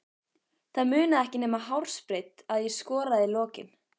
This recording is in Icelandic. Það munaði ekki nema hársbreidd að ég skoraði í lokin.